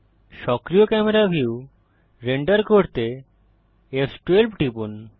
সক্রিয় camera view render করতে ফ12 টিপুন